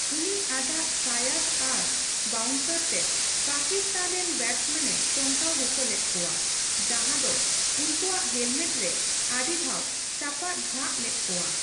ᱩᱱᱤ ᱟᱡᱟᱜ ᱥᱟᱭᱟᱫ ᱟᱨ ᱵᱟᱣᱩᱱᱥᱟᱨ ᱛᱮ ᱯᱟᱠᱤᱥᱛᱷᱟᱱ ᱨᱮᱱ ᱵᱮᱴᱥᱢᱮᱱᱮ ᱪᱚᱢᱠᱟᱣ ᱚᱪᱚ ᱞᱮᱫᱠᱳᱣᱟ, ᱡᱟᱸᱦᱟ ᱫᱚ ᱩᱱᱠᱳᱣᱟᱜ ᱦᱮᱞᱢᱮᱴ ᱨᱮ ᱟᱹᱰᱤ ᱫᱷᱟᱣ ᱪᱟᱯᱟᱫ ᱡᱷᱟᱜ ᱞᱮᱫ ᱠᱚᱣᱟ᱾